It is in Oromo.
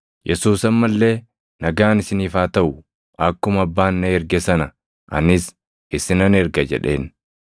Yesuus amma illee, “Nagaan isiniif haa taʼu! Akkuma Abbaan na erge sana anis isinan erga” jedheen.